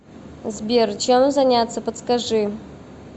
сбер чем заняться подскажи